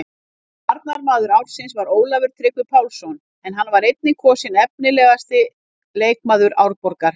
Varnarmaður ársins var Ólafur Tryggvi Pálsson en hann var einnig kosinn efnilegasti leikmaður Árborgar.